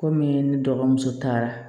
Komi ne dɔgɔmuso taara